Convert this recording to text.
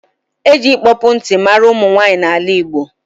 E ji ịkpọpụ nti mara ụmụnwanyị n’ala Igbo